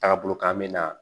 Taagabolo kan bɛ na